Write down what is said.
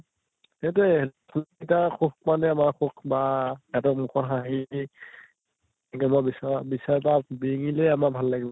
সেইটোৱে কিটা সুখ পালেই আমাৰ সুখ বা সেহেঁতৰ মুখত হাঁহি দিব বচৰা বিচাৰে বা বিৰিঙিলেই আমাৰ ভাল লাগিব